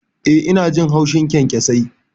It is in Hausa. Eh, ina jin haushin kyankyasai.